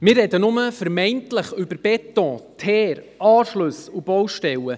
Wir sprechen nur vermeintlich über Beton, Teer, Anschlüsse und Baustellen.